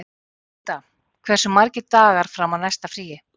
Matthilda, hversu margir dagar fram að næsta fríi?